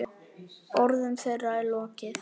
Orðum þeirra er lokið.